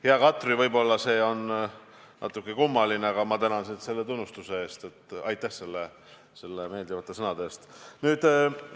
Hea Katri, võib-olla see on natuke kummaline, aga ma tänan sind tunnustuse eest: aitäh meeldivate sõnade eest!